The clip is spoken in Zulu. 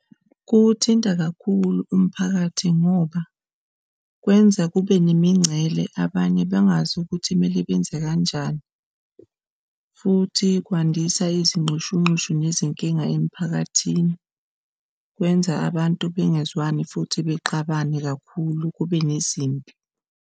Kuwuthinta kakhulu umphakathi ngoba kwenza kube nemingcele abanye bengazi ukuthi kumele benze kanjani. Futhi kwandisa izinxushunxushu nezinkinga emphakathini kwenza abantu bengezwani futhi bexabane kakhulu kube nezimpi.